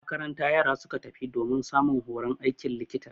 Makaranta yara suka tafi domin samun horon aikin likita.